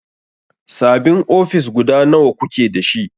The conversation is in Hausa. Sabin ofis guda nawa kuke dashi?